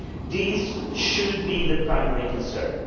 These should be the primary concerns.